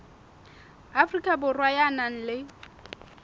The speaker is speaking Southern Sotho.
afrika borwa ya nang le